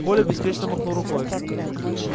коля беспечно махнул рукой